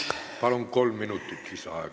Palun, kolm minutit lisaaega!